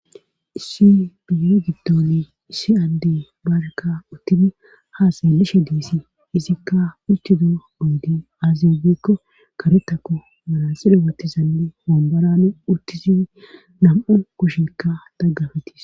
issi biire giddoni issi adde baarekka uttifi haasalallisha diisi isikka uctido ondi aaziabikko kare tako manasila watizanne homborana uttisifi nam7u kushinkka daggafetis